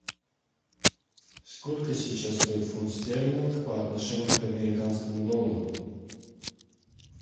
сколько сейчас стоит фунт стерлинг по отношению к американскому доллару